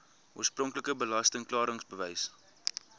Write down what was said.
oorspronklike belasting klaringsbewys